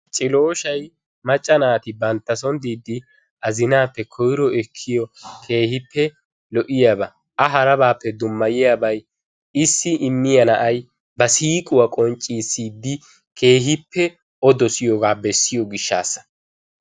Cillooshay macca naati bantta soon diidi azinappe koyro ekkiyo keehippe lo"iyaaba. A harabappe dummayiyaabay isi immiyaa naa'ay ba siiquwaa qonccissidi keehippe O dossiyooga bessiyo gishshassa.